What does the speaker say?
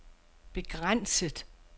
begrænset